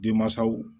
Denmansaw